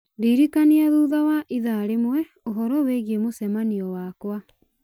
ndirikania thutha wa ithaa rĩmwe ũhoro wĩgiĩ mũcemanio wakwa